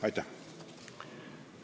Aitäh!